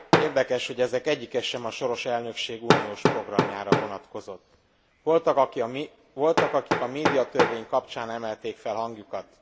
Érdekes, hogy ezek egyike sem a soros elnökség uniós programjára vonatkozott. Voltak, akik a médiatörvény kapcsán emelték fel a hangjukat.